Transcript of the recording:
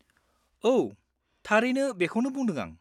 औ, थारैनो बेखौनो बुंदों आं।